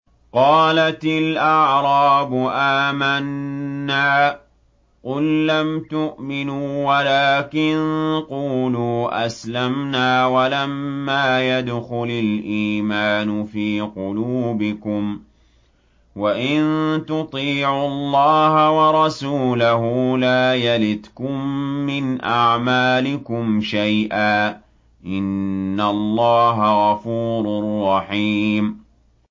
۞ قَالَتِ الْأَعْرَابُ آمَنَّا ۖ قُل لَّمْ تُؤْمِنُوا وَلَٰكِن قُولُوا أَسْلَمْنَا وَلَمَّا يَدْخُلِ الْإِيمَانُ فِي قُلُوبِكُمْ ۖ وَإِن تُطِيعُوا اللَّهَ وَرَسُولَهُ لَا يَلِتْكُم مِّنْ أَعْمَالِكُمْ شَيْئًا ۚ إِنَّ اللَّهَ غَفُورٌ رَّحِيمٌ